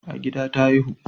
A gida ta haihu